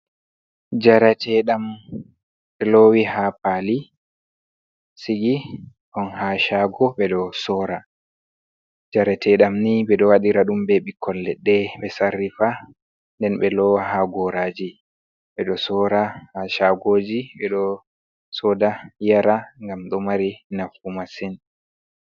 "Jaratedam" lowi ha paali sigi on ha shago ɓeɗo soora, jaratedam ni ɓeɗo waɗira ɗum be ɓikkoi leɗɗe ɓe sarrifa nden ɓe lowa ha goraji ɓedo sora ha shagoji ɓeɗo soda yara ngam ɗo mari nafu masin.